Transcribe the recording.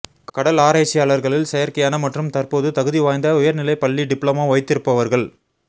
கடல் ஆராய்ச்சியாளர்களில் செயற்கையான மற்றும் தற்போது தகுதிவாய்ந்த தகுதிவாய்ந்த உயர்நிலைப் பள்ளி டிப்ளமோ வைத்திருப்பவர்கள்